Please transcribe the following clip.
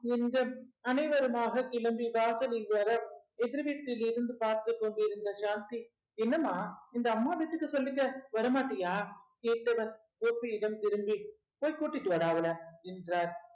என்க அனைவருமாக கிளம்பி வாசலில் வர எதிர் வீட்டிலிருந்து பார்த்துக் கொண்டிருந்த ஷாந்தி என்னம்மா இந்த அம்மா வீட்டுக்கு சொல்லிக்க வர மாட்டியா கேட்டவள் கோபியிடம் திரும்பி போய் கூட்டிட்டு வாடா அவள என்றார்